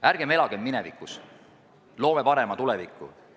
Ärgem elagem minevikus, vaid loogem paremat tulevikku!